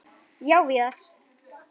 Já, Viðar.